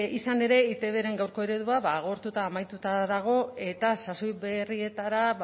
izan ere eitbren gaurko eredua ba agortuta amaituta dago eta sasoi berrietara